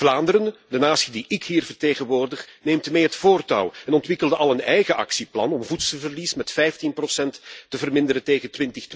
Vlaanderen, de natie die ik hier vertegenwoordig, neemt mee het voortouw en ontwikkelde al een eigen actieplan om voedselverlies met 15 te verminderen tegen